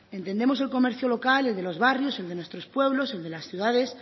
entendemos el comercio local el de los barrios el de nuestros pueblos el de las ciudades